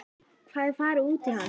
Hvar er farið út í hann?